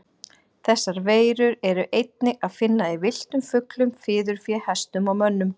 Þessar veirur er einnig að finna í villtum fuglum, fiðurfé, hestum og mönnum.